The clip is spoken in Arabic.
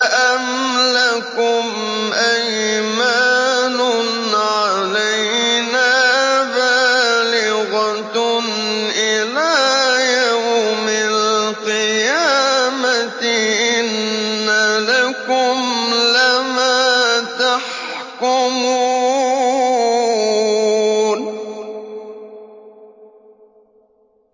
أَمْ لَكُمْ أَيْمَانٌ عَلَيْنَا بَالِغَةٌ إِلَىٰ يَوْمِ الْقِيَامَةِ ۙ إِنَّ لَكُمْ لَمَا تَحْكُمُونَ